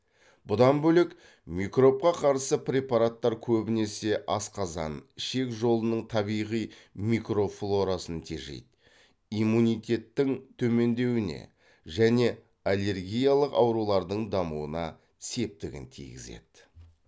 бұдан бөлек микробқа қарсы препараттар көбінесе асқазан ішек жолының табиғи микрофлорасын тежейді иммунитеттің төмендеуіне және аллергиялық аурулардың дамуына септігін тигізеді